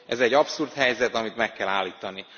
Ez egy abszurd helyzet, amit meg kell állítani.